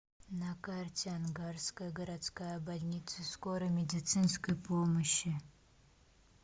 на карте ангарская городская больница скорой медицинской помощи